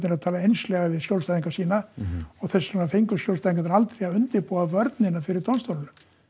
að tala einslega við skjólstæðinga sína og þess vegna fengu skjólstæðingar aldrei að undirbúa vörnina fyrir dómstólum